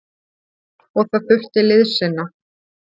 Og það þurfti liðsinni.